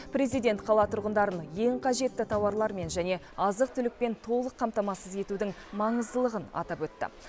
президент қала тұрғындарын ең қажетті тауарлармен және азық түлікпен толық қамтамасыз етудің маңыздылығын атап өтті